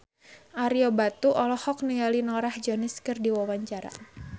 Ario Batu olohok ningali Norah Jones keur diwawancara